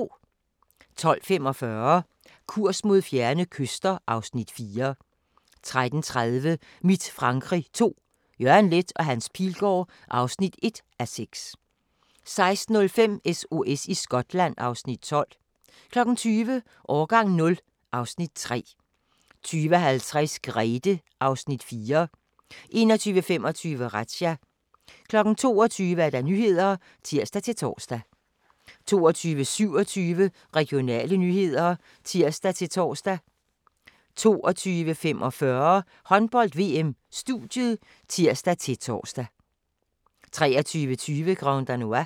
12:45: Kurs mod fjerne kyster (Afs. 4) 13:30: Mit Frankrig II – Jørgen Leth & Hans Pilgaard (1:6) 16:05: SOS i Skotland (Afs. 12) 20:00: Årgang 0 (Afs. 3) 20:50: Grethe (Afs. 4) 21:25: Razzia 22:00: Nyhederne (tir-tor) 22:27: Regionale nyheder (tir-tor) 22:45: Håndbold: VM - studiet (tir-tor) 23:20: Grand Danois